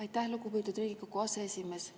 Aitäh, lugupeetud Riigikogu aseesimees!